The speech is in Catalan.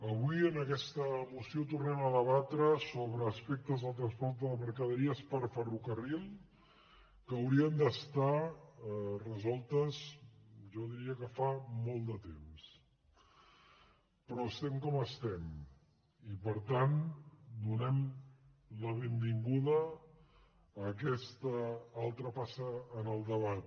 avui en aquesta moció tornem a debatre sobre aspectes del transport de mercaderies per ferrocarril que haurien d’estar resolts jo diria que fa molt de temps però estem com estem i per tant donem la benvinguda a aquesta altra passa en el debat